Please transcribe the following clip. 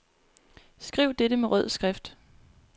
Skriv dette med rød skrift.